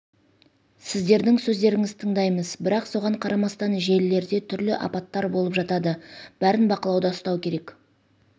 сіздердің сөздеріңізді тыңдаймыз бірақ соған қарамастан желілерде түрлі апаттар болып жаитады бәрін бақылауда ұстау керек